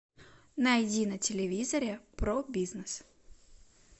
найди на телевизоре про бизнес